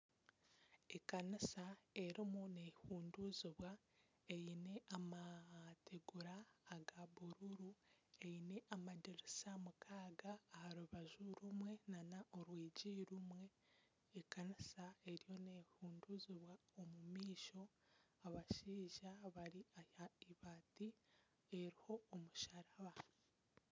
Ekanisa erimu nehunduuzibwa eine amategura aga bururu Eine amadirisa mukaaga aha rubaju rumwe nana orwigi rumwe ekanisa eriho nehunduuzibwa omu maisho abashaija bari aha eibaati eriho omusharaba